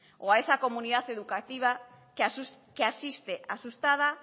o a esa comunidad educativa que asiste asustada